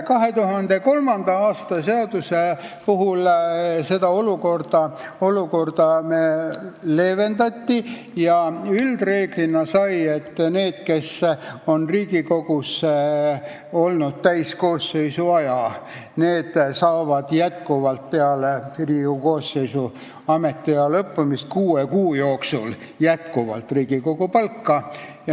2003. aasta seadusega neid garantiisid vähendati ja üldreegliks sai, et inimesed, kes on Riigikogu koosseisus lõpuni olnud, saavad peale koosseisu ametiaja lõppemist kuue kuu jooksul edasi Riigikogu palka.